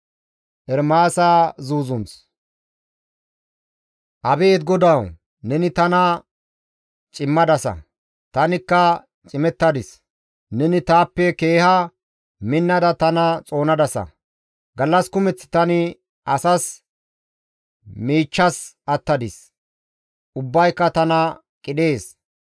Abeet GODAWU! Neni tana cimmadasa; tanikka cimettadis. Neni taappe keeha minnada tana xoonadasa. Gallas kumeth tani asas miichchas attadis; ubbayka tana qidhees.